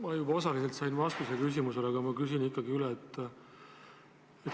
Ma juba osaliselt sain vastuse küsimusele, aga ma küsin ikkagi üle.